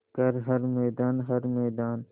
कर हर मैदान हर मैदान